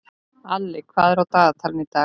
Alli, hvað er á dagatalinu í dag?